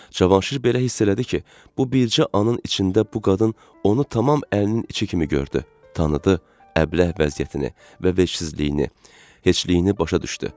Cavanşir belə hiss elədi ki, bu bircə anın içində bu qadın onu tamam əlinin içi kimi gördü, tanıdı, əbləh vəziyyətini və vecsizliyini, heçliyini başa düşdü.